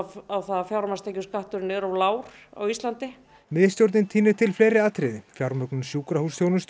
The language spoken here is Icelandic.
á að fjármagnstekjuskattur er of lágur á Íslandi miðstjórnin tínir til fleiri atriði fjármögnun sjúkrahúsþjónustu